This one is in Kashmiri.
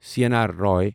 C N R Rao